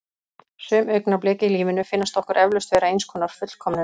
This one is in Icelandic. Sum augnablik í lífinu finnast okkur eflaust vera eins konar fullkomnun.